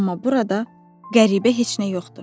Amma burada qəribə heç nə yoxdur.